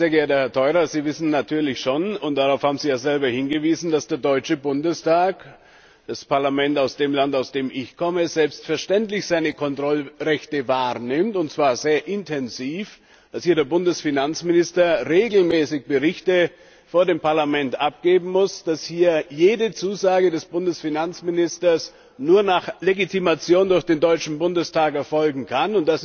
Sehr geehrter Herr Theurer, Sie wissen natürlich schon und darauf haben Sie ja selbst hingewiesen dass der Deutsche Bundestag, das Parlament des Landes, aus dem ich komme, selbstverständlich seine Kontrollrechte wahrnimmt, und zwar sehr intensiv, dass hier der Bundesfinanzminister regelmäßig Berichte vor dem Parlament abgeben muss, dass hier jede Zusage des Bundesfinanzministers nur nach Legitimation durch den Deutschen Bundestag erfolgen kann.